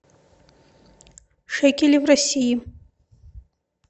шекели в россии